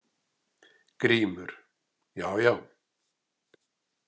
GRÍMUR: Já, já!